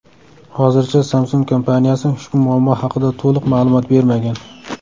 Hozircha Samsung kompaniyasi ushbu muammo haqida to‘liq ma’lumot bermagan.